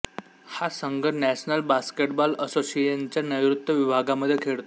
हा संघ national basketball असोसिएशनच्या नैऋत्य विभागामध्ये खेळतो